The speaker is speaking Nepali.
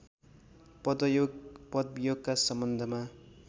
पदयोग पदवियोगका सम्बन्धमा